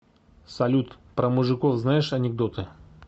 салют про мужиков знаешь анекдоты